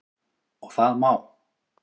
Og það má.